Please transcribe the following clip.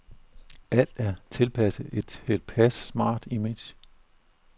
Alt er tilpasset et tilpas smart image.